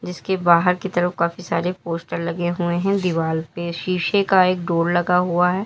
इसके बाहर की तरफ काफी सारे पोस्टर लगे हुए हैं दीवाल पे शीशे का एक डोर लगा हुआ है।